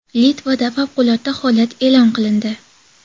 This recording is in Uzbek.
Litvada favqulodda holat e’lon qilindi.